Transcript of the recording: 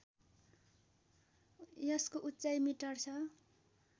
यसको उचाइ मिटर छ